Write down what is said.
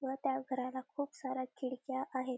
व त्या घराला खूप साऱ्या खिडक्या आहेत.